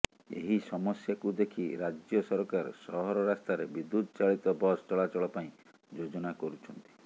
ଏହି ସମସ୍ୟାକୁ ଦେଖି ରାଜ୍ୟ ସରକାର ସହର ରାସ୍ତାରେ ବିଦ୍ୟୁତ ଚାଳିତ ବସ ଚଳାଚଳ ପାଇଁ ଯୋଜନା କରୁଛନ୍ତି